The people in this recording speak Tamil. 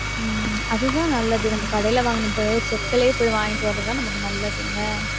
உம் அதுதான் நல்லது நம்ம கடையில வாங்கின செக்குலேயே போய் வாங்கிட்டு வர்றது தான் நமக்கு நல்லது என்ன.